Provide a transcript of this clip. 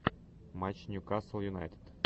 матч ньюкасл юнайтед